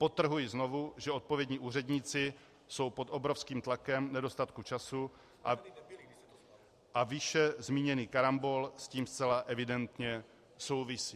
Podtrhuji znovu, že odpovědní úředníci jsou pod obrovským tlakem nedostatku času a výše zmíněný karambol s tím zcela evidentně souvisí.